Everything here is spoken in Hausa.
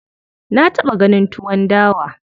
Na taɓa ganin tuwon dawa.